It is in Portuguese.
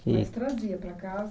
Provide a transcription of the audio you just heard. E Mas trazia para casa?